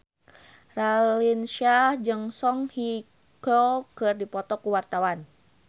Raline Shah jeung Song Hye Kyo keur dipoto ku wartawan